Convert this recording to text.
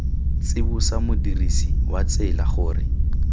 tsibosa modirisi wa tsela gore